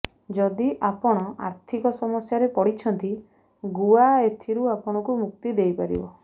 ଯଦି ଆପଣ ଆର୍ଥିକ ସମସ୍ୟାରେ ପଡିଛନ୍ତି ଗୁଆ ଏଥିରୁ ଆପଣଙ୍କୁ ମୁକ୍ତି ଦେଇପାରିବ